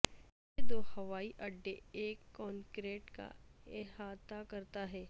یہ دو ہوائی اڈے ایک کنکریٹ کا احاطہ کرتا ہے